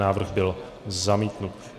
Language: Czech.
Návrh byl zamítnut.